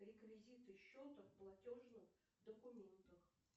реквизиты счета в платежных документах